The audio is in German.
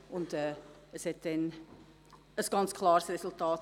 Die Abstimmung ergab ein ganz klares Resultat.